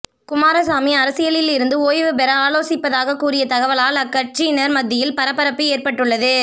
குமாரசாமி அரசியலில் இருந்து ஓய்வு பெற ஆலோசிப்பதாக கூறிய தகவலால் அக்கட்சியினர் மத்தியில் பரபரப்பு ஏற்பட்டுள்ளது